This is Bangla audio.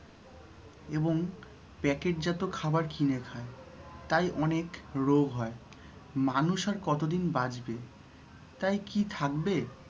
এবং প্যাকেট জাত খাবার কিনে খায় তাই অনেক রোগ হয় মানুষ আর কতদিন বাঁচবে তাই কি থাকবে?